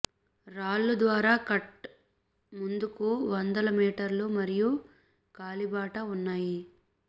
రాళ్ళు ద్వారా కట్ ముందుకు వందల మీటర్లు మరియు కాలిబాట ఉన్నాయి